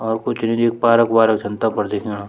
और कुछ नी पार्क वारक च तपर दिखेंणा।